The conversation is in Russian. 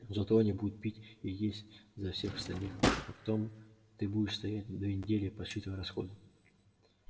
но зато они будут пить и есть за всех остальных а потом ты будешь стоять две недели подсчитывая расходы